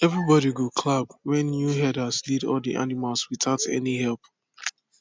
everybody go clap when new herder lead all the animals without any help